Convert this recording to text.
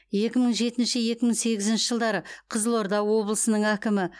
екі мың жетінші екі мың сегізінші жылдары қызылорда облысының әкімі